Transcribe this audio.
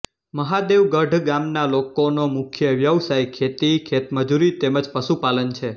મહાદેવગઢ ગામના લોકોનો મુખ્ય વ્યવસાય ખેતી ખેતમજૂરી તેમ જ પશુપાલન છે